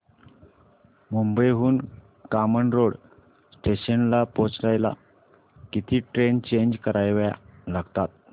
मुंबई हून कामन रोड स्टेशनला पोहचायला किती ट्रेन चेंज कराव्या लागतात